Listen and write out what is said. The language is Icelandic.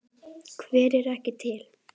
Hver er ekki til?